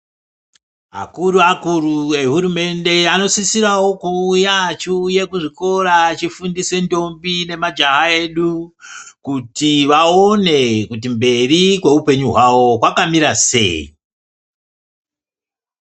Akuru-akuru ehurumende anosisirawo kuuya achiuye kuzvikora achifundise ndombi namajaha edu kuti vaone kuti mberi kweupenyu hwavo kwakamira sei.